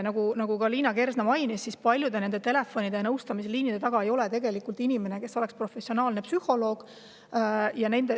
Nagu Liina Kersna mainis, ei ole paljude telefonide ja nõustamisliinide taga tegelikult professionaalset psühholoogi.